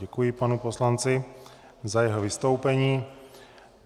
Děkuji panu poslanci za jeho vystoupení.